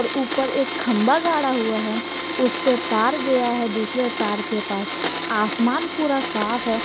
ऊपर एक खंभा गाड़ा हुआ है उससे तार गया है दूसरे तार के पास आसमान पूरा साफ है।